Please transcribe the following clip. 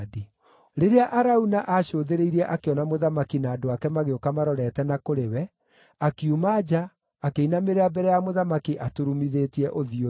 Rĩrĩa Arauna aacũthĩrĩirie akĩona mũthamaki na andũ ake magĩũka marorete na kũrĩ we, akiuma nja, akĩinamĩrĩra mbere ya mũthamaki aturumithĩtie ũthiũ thĩ.